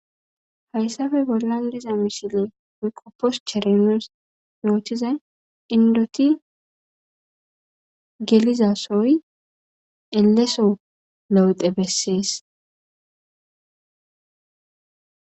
Hayssape bollan diza misile woykko postere nuus yootizay inddoti gelizaasoy elleso lewte bessees.